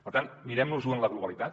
per tant mirem nos ho en la globalitat